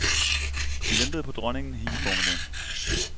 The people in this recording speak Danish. De ventede på dronningen hele formiddagen.